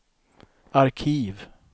arkiv